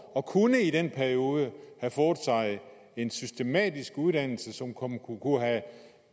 og kunne i den periode have fået en systematisk uddannelse som